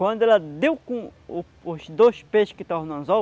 Quando ela deu com o os dois peixes que estavam no anzol,